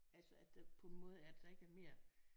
Altså at der på en måde at der ikke er mere